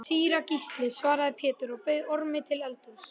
Síra Gísli, svaraði Pétur og bauð Ormi til eldhúss.